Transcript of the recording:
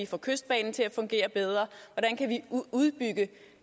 få kystbanen til at fungere bedre og udbygge